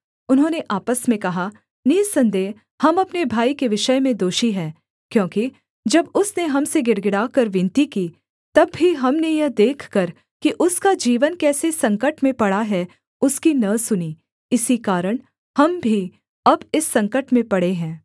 उन्होंने आपस में कहा निःसन्देह हम अपने भाई के विषय में दोषी हैं क्योंकि जब उसने हम से गिड़गिड़ाकर विनती की तब भी हमने यह देखकर कि उसका जीवन कैसे संकट में पड़ा है उसकी न सुनी इसी कारण हम भी अब इस संकट में पड़े हैं